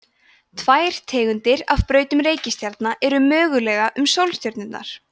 tvær tegundir af brautum reikistjarna eru mögulegar um sólstjörnurnar